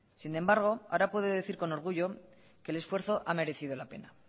sin embargo ahora puedo decir con orgullo que el esfuerzo ha merecido la pena